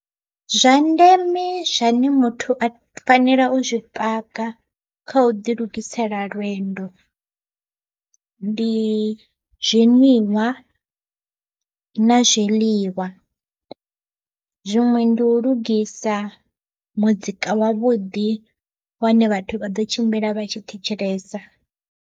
Zwa ndeme zwane muthu a fanela u zwipaka kha u ḓi lugisela lwendo, ndi zwinwiwa na zwiḽiwa. Zwiṅwe ndi u lugisa muzika wavhuḓi wane vhathu vha ḓo tshimbila vha tshi thetshelesa.